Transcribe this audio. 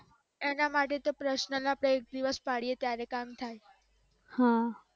એના માટે તો પર્સનલ ના બે દિવસ પાડીએ ત્યારે કામ થાય